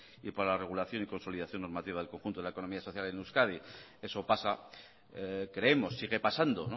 y para la regulación y consolidación normativa del conjunto de la economía social en euskadi eso pasa creemos sigue pasando